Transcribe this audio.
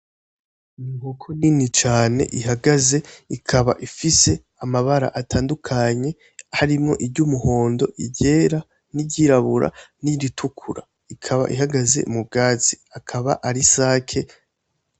Inkoko nini cane ihagaze ikaba ifise amabara atandukanye harimwo iry'umuhondo iryera niryirabura n'iritukura, ikaba ihagaze m'ubwatsi akaba ari isake.